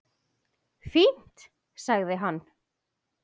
Fínt- sagði hann.